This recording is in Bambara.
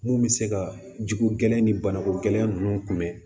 Mun bɛ se ka jiko gɛlɛn ni banako gɛlɛn ninnu kunbɛn